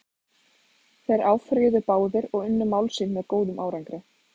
Þeir áfrýjuðu báðir og unnu mál sín með góðum árangri.